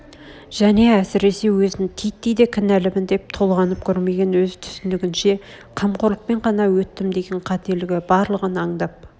және әсресе өзін титтей де кінәлымын деп толғанып көрмеген өз түсінігінше қамқорлықпен ғана өттім деген қателгі барлығын аңдап